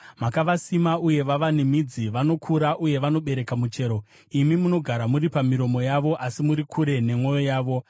Makavasima, uye vava nemidzi; vanokura uye vanobereka muchero. Imi munogara muri pamiromo yavo asi muri kure nemwoyo yavo.